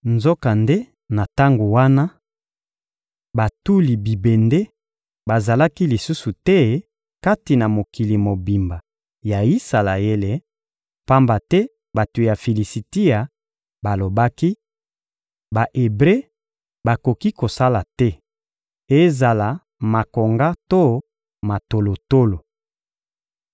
Nzokande, na tango wana, batuli bibende bazalaki lisusu te kati na mokili mobimba ya Isalaele, pamba te bato ya Filisitia balobaki: «Ba-Ebre bakoki kosala te, ezala makonga to matolotolo.»